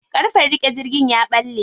Ƙarfen riƙe jirgin ya ɓalle.